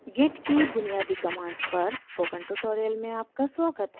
git की बुनियादी commands पर स्पोकन ट्यूटोरियल में आपका स्वागत है